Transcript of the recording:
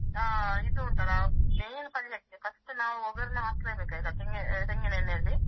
ಇದು ಉಂಟಲ್ಲಾ main ಪಲ್ಯಕ್ಕೆ first ನಾವು ಒಗ್ಗರಣೆ ಹಾಕ್ಲೆ ಬೇಕು ಆಯ್ತಾ ತೆಂಗಿನ ತೆಂಗಿನ ಎಣ್ಣೆಯಲ್ಲಿ.